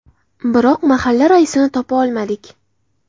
Biroq mahalla raisini topa olmadik.